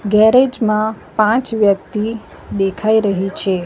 Garage માં પાંચ વ્યક્તિ દેખાઈ રહી છે.